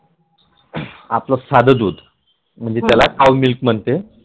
आपल साध दुध म्हणजे त्याला Cow milk म्हणते